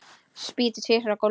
Spýti tvisvar á gólfið.